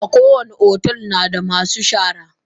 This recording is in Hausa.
Kowani otel nada masu shara.